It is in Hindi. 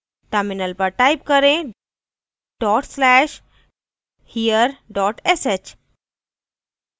terminal पर type करें dot slash here dot sh